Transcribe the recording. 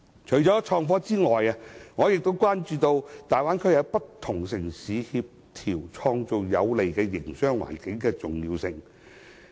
除創科外，我亦關注與大灣區內不同城市協調創造有利營商環境的重要性。